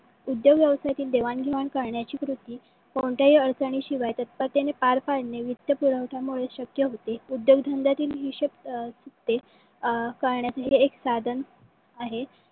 उद्योग व्यवसायाची देवाण घेवाण करण्याची कृती कोणत्याही अडचणी शिवाय तत्परतेने पार पडणे. वित्त पुरवठामुळे शक्य होते. उद्योगधंद्यातील हिशोब अं अं करण्याचे हे एक साधन आहे.